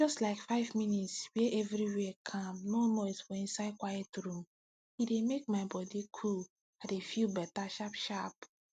just like five minutes wey everywhere calm no noise for inside quiet room e dey make my body cool i dey feel better sharpsharp